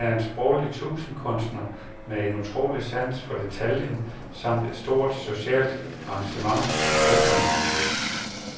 Han er en sproglig tusindkunstner med en utrolig sans for detaljen samt et stort socialt engagement. punktum